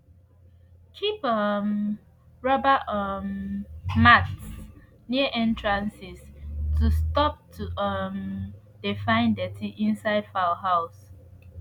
keep um rubber um mats near entrances to stop to um de find dirty inside fowl house